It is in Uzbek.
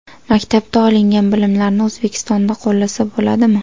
Maktabda olingan bilimlarni O‘zbekistonda qo‘llasa bo‘ladimi?